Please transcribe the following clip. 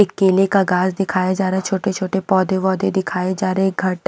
एक केले का घास दिखाया जा रहा है छोटे-छोटे पौधे-वौधे दिखाए जा रहे हैं घर--